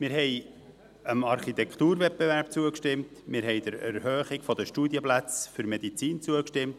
Wir haben dem Architekturwettbewerb zugestimmt, wir haben der Erhöhung der Studienplätze für Medizin zugestimmt.